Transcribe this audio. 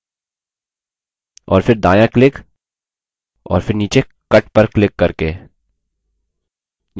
और फिर दायाँ क्लिक और फिर नीचे cut पर क्लिक करके